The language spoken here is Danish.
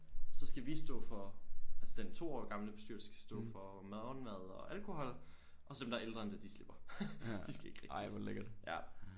Så skal vi stå for altså den 2 år gamle bestyrelse skal stå for morgenmad og alkohol og så dem der er ældre end det de slipper de skal ikke rigtig ja